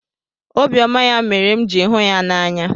Obiọma ya mere m jiri hụ ya n'anya.